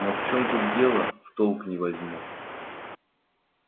но в чем тут дело в толк не возьму